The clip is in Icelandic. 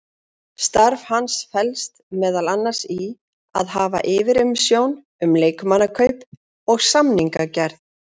Starf hans felst meðal annars í að hafa yfirsjón um leikmannakaup og samningagerð.